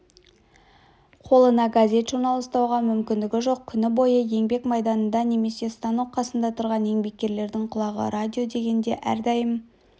қолына газет-журнал ұстауға мүмкіндігі жоқ күні бойы еңбек майданында немесе станок қасында тұрған еңбеккерлердің құлағы радио дегенде әрдайым